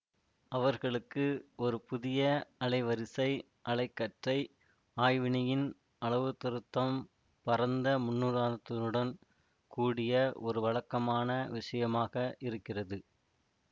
அவர்களுக்கு ஒரு புதிய அலைவரிசை அலை கற்றை ஆய்வினியின் அளவுத்திருத்தம் பரந்த முன்னுதாரணத்துடன் கூடிய ஒரு வழக்கமான விஷயமாக இருக்கிறது